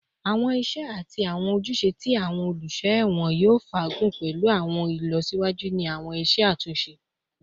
Awọn iṣẹ ati awọn ojuse ti awọn oluso ẹwọn yoo faagun pẹlu awọn ilọsiwaju ni awọn iṣe atunṣe